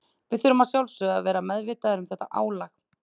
Við þurfum að sjálfsögðu að vera meðvitaðir um þetta álag.